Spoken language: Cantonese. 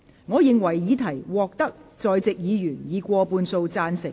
我認為議題獲得在席議員以過半數贊成。